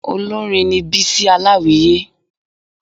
Olórin ni Bísí Aláwìyé